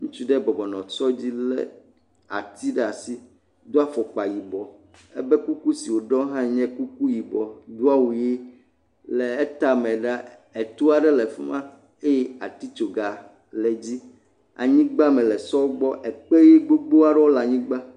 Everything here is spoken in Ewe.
Ŋutsu ɖe bɔbɔ nɔ sɔ lé ati aɖe ɖe asi, do afɔkpa yibɔ, alebe kuku si wòɖɔ hã nye kuku yibɔ, do awu ʋe, le etame la, etoa aɖe le fi ma eye atitsoga le dzi, le anyigba me le sɔ gbɔ ekpe ʋe gbogbo ɖewo le anyigba.